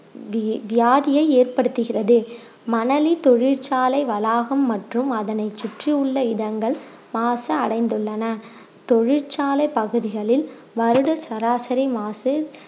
we~ வியாதியை ஏற்படுத்துகிறது மணலி தொழிற்சாலை வளாகம் மற்றும் அதனைச் சுற்றியுள்ள இடங்கள் மாசு அடைந்துள்ளன தொழிற்சாலை பகுதிகளில் வருட சராசரி மாசு